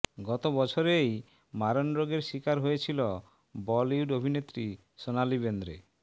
গত বছরেই মারণ রোগের শিকার হয়েছিল বলিউড অভিনেত্রী সোনালি বেন্দ্রে